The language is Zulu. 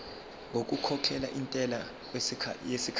ngokukhokhela intela yesikhashana